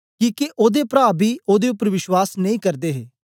किके ओदे प्रा बी ओदे उपर विश्वास नेई करदे हे